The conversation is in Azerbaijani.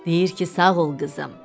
Deyir ki, sağ ol, qızım.